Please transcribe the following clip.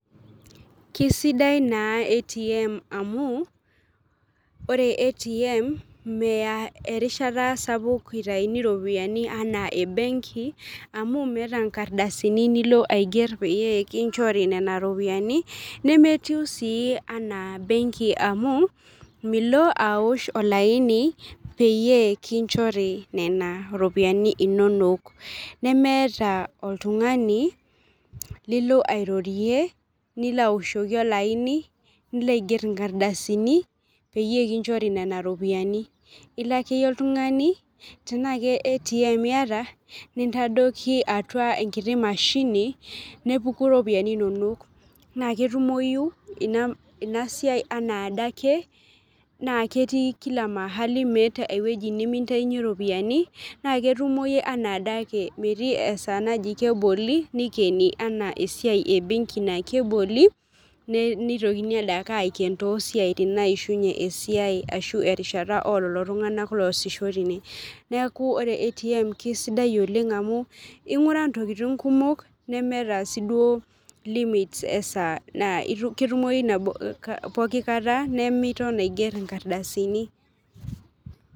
Kisidai naa ATM, amu ore ATM, meya erishata sapuk itayuni iropiyiani anaa ebenki amu, meeta nkardasini nilo aiger peyie ekinchori Nena ropiyiani , nemetii sii anaa benki amu Milo aosh olaini peyie kinchori nena ropiyiani inonok, nemeeta oltungani lilo airorie nilo aoshoki olaini, nilo aiger inkardasini peyie kinchori nena ropiyiani ilo akeyie oltungani tenaa ke ATM iyata nintadoiki atua enkiti mashni, nepuku iropiyiani, inonok naa ketumoyu Ina siai anaa adake, naa ketii, Kila mahali, meeta ewueji nimintayunye ropiyiani naa ketumoyu, anaa adake, metii esaa naji keboli, nikenj anaa esiai ebenki naa keboli, nitokini adake aiken toosiatin naishunye esiai, ashu erishata oololo tunganak loosisho teine, neeku ore ATM keisidai, olenga amu inguraa ntokitin kumok nemeeta sii duo limit esaa naa ketumoyu pooki kata nemiton aiger inkardasini.